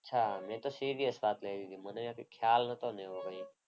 અચ્છા મેં તો serious વાત કરી લીધી. મને એવું કંઈ ખ્યાલ નહોતો ને એવું કંઈ.